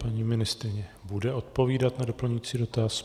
Paní ministryně bude odpovídat na doplňující dotaz.